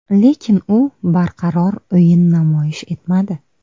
Lekin u barqaror o‘yin namoyish etmadi.